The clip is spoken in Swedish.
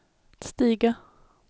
stiga